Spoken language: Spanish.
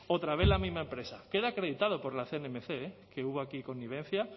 otra vez la misma empresa queda acreditado por la cnmc que hubo aquí connivencia